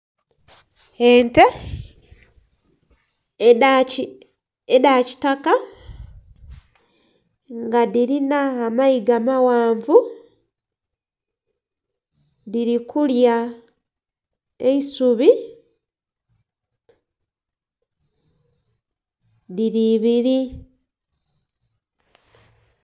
Ente edha kitaka nga dhirina amayiga amaghanvu dhiri kulya eisubi dhiri ibiri.